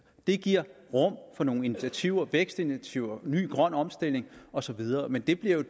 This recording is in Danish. det giver rum for nogle initiativer vækstinitiativer ny grøn omstilling og så videre men det bliver